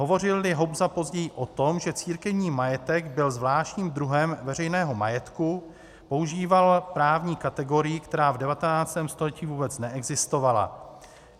Hovořil-li Hobza později o tom, že církevní majetek byl zvláštním druhem veřejného majetku, používal právní kategorii, která v 19. století vůbec neexistovala.